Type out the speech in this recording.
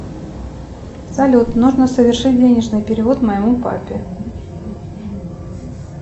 салют нужно совершить денежный перевод моему папе